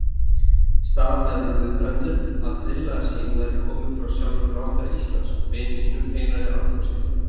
Staðhæfði Guðbrandur, að tillaga sín væri komin frá sjálfum ráðherra Íslands, vini sínum, Einar Arnórssyni.